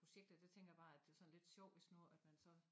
Projekt her der tænker jeg bare at det sådan lidt sjovt hvis nu at man så